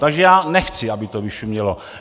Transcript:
Takže já nechci, aby to vyšumělo.